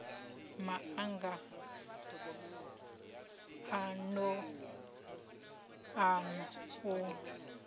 ma anga a n ou